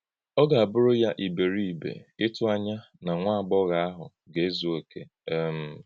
Ọ̀ ga-abụ̀rù yá íbèríbè ịtụ̀ ànyá na nwá àgbọ̀ghọ̀ ahụ ga-ezù òkè. um